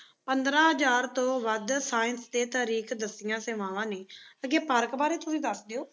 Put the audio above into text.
ਪੰਦਰਾਂ ਹਜ਼ਾਰ ਤੋਂ ਵੱਧ science 'ਤੇ ਤਰੀਖ਼ ਦੱਸਦਿਆਂ ਸੇਵਾਵਾਂ ਨੇਂ। ਅੱਗੇ ਪਾਰਕ ਬਾਰੇ ਤੁਸੀਂ ਦੱਸ ਦਿਓ।